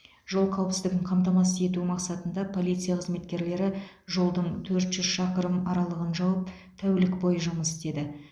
жол қауіпсіздігін қамтамасыз ету мақсатында полиция қызметкерлері жолдың төрт жүз шақырым аралығын жауып тәулік бойы жұмыс істеді